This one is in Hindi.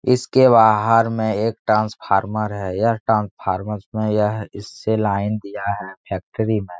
इसके बाहर में एक ट्रांसफार्मर है यह ट्रांसफार्मरस में यह इससे लाइन दिया है फैक्ट्री में ।